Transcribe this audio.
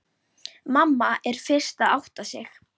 Mamma er fyrst að átta sig: